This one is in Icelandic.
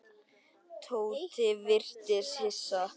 Tóti virtist hissa.